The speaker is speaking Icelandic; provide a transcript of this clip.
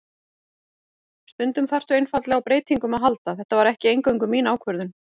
Stundum þarftu einfaldlega á breytingum að halda, þetta var ekki eingöngu mín ákvörðun.